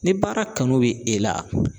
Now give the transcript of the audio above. Ni baara kanu be e la